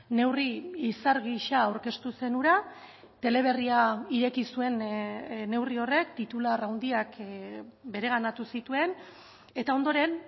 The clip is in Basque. neurri izar gisa aurkeztu zen hura teleberria ireki zuen neurri horrek titular handiak bereganatu zituen eta ondoren